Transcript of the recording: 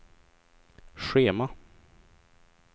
schema